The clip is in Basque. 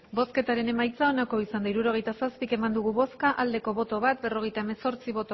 hirurogeita zazpi eman dugu bozka bat bai berrogeita hemezortzi